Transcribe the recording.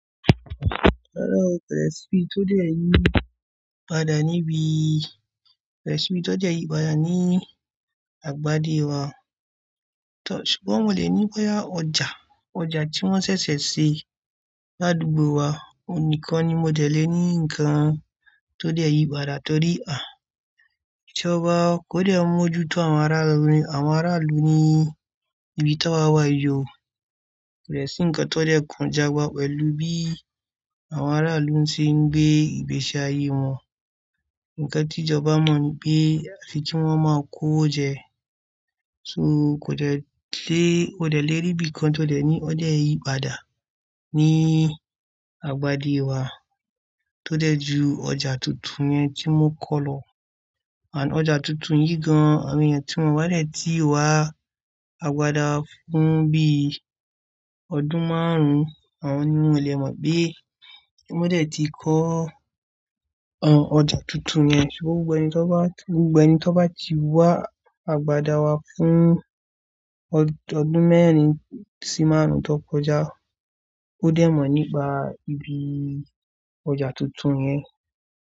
Rárá o, kò lè sí bí tó dé èyí padà níbí. Kò lè sí bí tó dé yìí padà ní àgbádé wa. Ṣùgbọ́n mo lè ní boyà ọjà, ọjà tí wọ́n ṣẹ̀ṣẹ̀ ṣe ládùúgbò wa. Òhun nikan ni mo dẹ̀ lé ní ǹkan tó dé yìí padà torí ijọba kò dè mú ojú tó àwọn ará ilú ní ibi táwà wà yió. Kò dè sí ǹkan tó dè kàn ijoba pẹ̀lú bí àwọn ará ilú ń ṣe ń gbé ìgbésí ayé wọn. Ǹkan tí ìjọba ma nipé àfi kí wọ́n máa kó owo jẹ, ṣó kò dẹ̀ lé, kò dẹ̀ lé ri bí kan tó dẹ̀ ní ó dẹ̀ yìí padà ní àgbádé wa tó dẹ̀ ju ọjà tuntun yẹn tí wọn kọ́ lọ. Àn ọjà tuntun yìí gan-an awon eyan tí wọ́n bá dẹ̀ ti wá àgbàdá fún bí ọdún márùn-ún, àwọn ni wọn lè mọ̀ pé ki wọn dẹ̀ ti kọ́ ọjà tuntun yẹn. Ṣùgbọ́n gbogbo ẹni tó bá, gbogbo ẹni tó bá ti wá àgbàdá wa fún ọdún mẹ́rin sí márùn-ún tó kọjá, ó dẹ̀ mọ̀ nípa ibi ọjà tuntun yẹn.